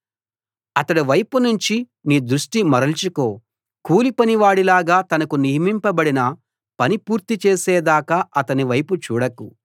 అతడి వైపు నుంచి నీ దృష్టి మరల్చుకో కూలిపని వాడిలాగా తనకు నియమింపబడిన పని పూర్తి చేసేదాకా అతని వైపు చూడకు